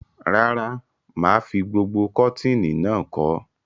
Rárá, mà á fi gbogbo kọ̀tínì náà kọ́.